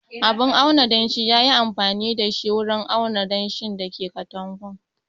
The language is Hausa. Abun auna danshi ya yi amfani da shi wurin auna danshin da ke katakon